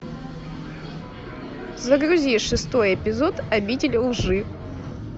загрузи шестой эпизод обитель лжи